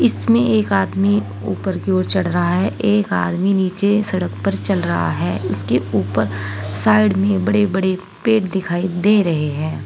इसमें एक आदमी ऊपर की ओर चढ़ रहा है एक आदमी नीचे सड़क पर चल रहा है उसके ऊपर साइड में बड़े बड़े पेड़ दिखाई दे रहे हैं।